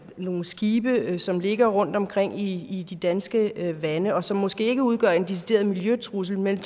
nogle skibe som ligger rundtomkring i de danske farvande og som måske ikke udgør en decideret miljøtrussel men